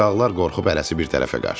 Uşaqlar qorxub hərəsi bir tərəfə qaçdı.